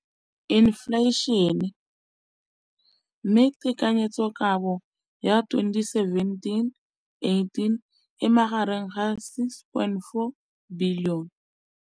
Infleišene, mme tekanyetsokabo ya 2017, 18, e magareng ga R6.4 bilione.